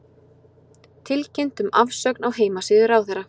Tilkynnt um afsögn á heimasíðu ráðherra